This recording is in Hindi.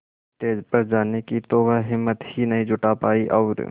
स्टेज पर जाने की तो वह हिम्मत ही नहीं जुटा पाई और